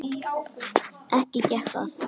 Ekki gekk það.